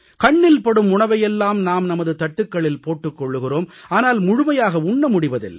கண்ணில் படும் உணவை எல்லாம் நாம் நமது தட்டுக்களில் போட்டுக் கொள்கிறோம் ஆனால் முழுமையாக உண்ண முடிவதில்லை